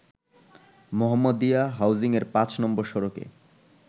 মোহাম্মাদিয়া হাউজিংয়ের ৫ নম্বর সড়কে